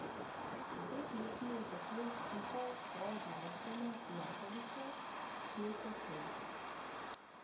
Dve pesmi je zapel skupaj s svojo glasbeno prijateljico, pevko Sento.